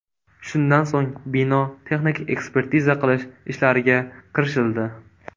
Shundan so‘ng bino texnik ekspertiza qilish ishlariga kirishildi.